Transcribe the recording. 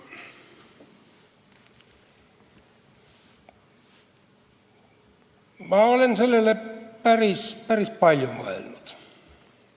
Ma olen sellele päris palju mõelnud.